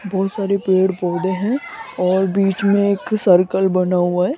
बहुत सारे पेड़ पौधे हैं और बीच में एक सर्कल बना हुआ है।